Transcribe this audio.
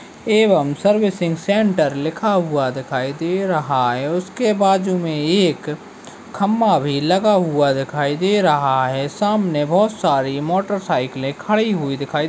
--एवं servicing centre लिखा हुआ दिखाई दे रहा है उसके बाजू में एक खंभा भी लगा हुआ दिखाई दे रहा है सामने बहुत सारी मोटरसाइकिले खड़ी हुई दिखाई--